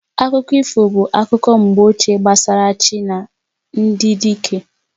Akụkọ ifo bụ akụkọ mgbe ochie gbasara chi na ndị dike